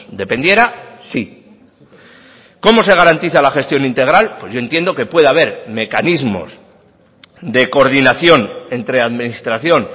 dependiera sí cómo se garantiza la gestión integral pues yo entiendo que pueda haber mecanismos de coordinación entre administración